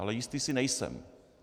Ale jistý si nejsem.